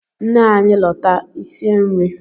Nne anyị lọta i sie nri!